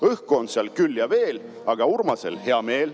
Õhku on seal küll ja veel, aga Urmasel hea meel.